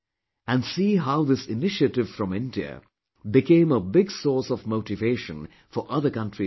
And see how this initiative from India became a big source of motivation for other countries too